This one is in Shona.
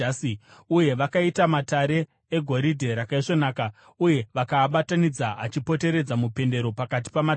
Uye vakaita matare egoridhe rakaisvonaka uye vakaabatanidza achipoteredza mupendero pakati pamatamba.